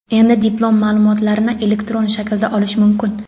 Endi diplom ma’lumotlarini elektron shaklda olish mumkin.